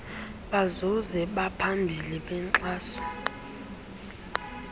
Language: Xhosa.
bazuzi baphambili benkxaso